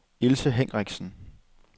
Ilse Henriksen